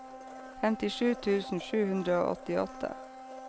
femtisju tusen sju hundre og åttiåtte